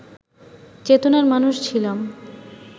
চেতনার মানুষ ছিলাম